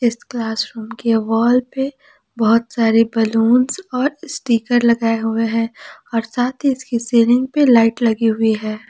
इस classroom के wall पे बहुत सारे बलूंस और स्टीकर लगाए हुए हैं और साथ ही इसकी सीलिंग पे लाइट लगी हुई है।